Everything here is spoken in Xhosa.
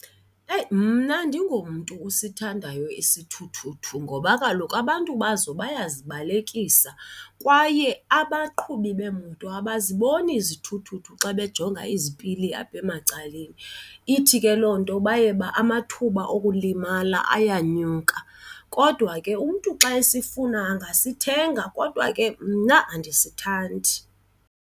Eyi, mna andingomntu usithandayo isithuthuthu ngoba kaloku abantu bazo bayazibalekisa kwaye abaqhubi beemoto abaziboni izithuthuthu xa bejonga izipili apha emacaleni. Ithi ke loo nto baye amathuba okulimala ayanyuka. Kodwa ke umntu xa esifuna angasithenga, kodwa ke mna andisithandi.